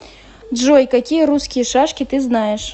джой какие русские шашки ты знаешь